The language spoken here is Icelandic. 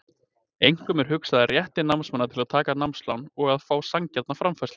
Einkum er hugað að rétti námsmanna til að taka námslán og að fá sanngjarna framfærslu.